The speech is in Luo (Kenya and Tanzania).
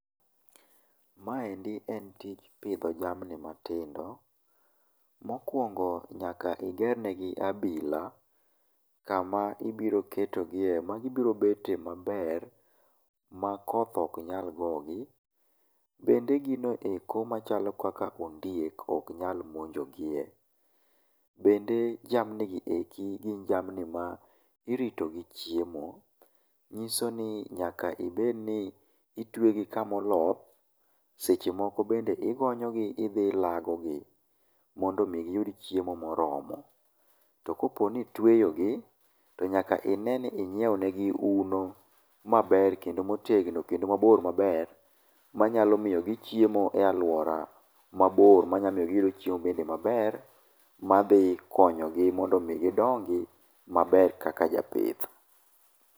Maendi en tij pidho jamni matindo. Mokuongo nyaka iger negi abila, kama ibiro ketogie magibiro bete maber, ma koth ok nyal gogi, bende gino eko machalo ondiek ok nyal monjogie. Bende jamni gi eki gin jamni ma irito gi chiemo, nyiso ni nyaka ibed ni itwe gi kamoloth, seche moko bende igonyo gi idhi ilago gi, mondo mi giyud chiemo moromo. To koponi itweyo gi, to nyaka ine ni inyieo ne gi uno maber kendo motegno kendo mabor maber, manyalo miyo gichiemo e alwuora mabor manyalo miyo giyudo chiemo bende maber, madhi konyogi mondo mi gidongi maber kaka japith.